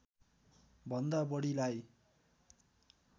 भन्दा बढीलाई